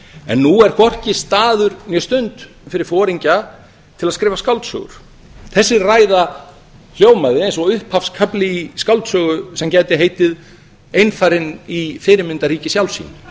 en nú er hvorki staður né stund fyrir foringja til að skrifa skáldsögur þessi ræða hljómaði eins og upphafskafli í skáldsögu sem gæti heitið einfarinn í fyrirmyndarríki sjálfs sín